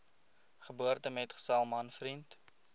geboortemetgesel man vriend